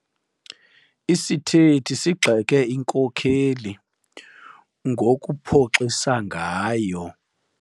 Isithethi sigxeke inkokeli ngokuphoxisa ngayo.